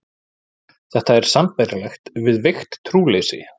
Þetta er sambærilegt við veikt trúleysi.